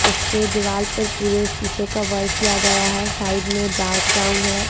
इसके दीवाल पर पूरे शीशे का वर्क किया गया है साइड में डार्क ब्राउन है।